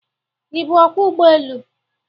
Ị bụ Ọkwọ ụgbọelu?